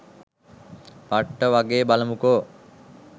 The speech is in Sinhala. පට්ට වගේ.බලමුකො